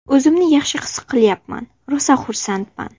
O‘zimni yaxshi his qilyapman, rosa xursandman.